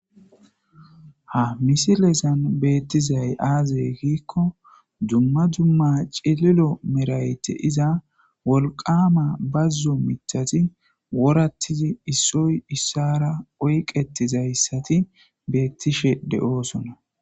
Ha misilexan beettizay aazey giikko dumma dumma cililo merayti iza wolqaama bazzo mithati worattizi issoy issara oyqetizayssati beettishe de7oosona.